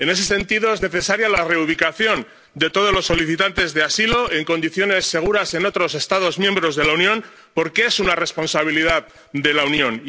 En ese sentido, es necesaria la reubicación de todos los solicitantes de asilo en condiciones seguras en otros Estados miembros de la Unión, porque es una responsabilidad de la Unión.